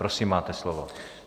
Prosím, máte slovo.